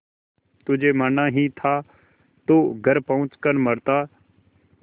तुझे मरना ही था तो घर पहुँच कर मरता